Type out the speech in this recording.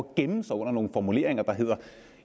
at gemme sig under nogle formuleringer der hedder at